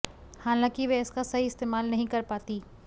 हालांकि वह इसका सही इस्तेमाल नहीं कर पाती